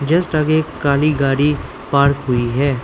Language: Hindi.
जिस जगह काली गाड़ी पार्क हुई है।